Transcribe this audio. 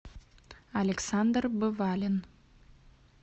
александр бывалин